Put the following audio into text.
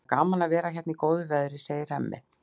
Það er gaman að vera hérna í góðu veðri, segir Hemmi.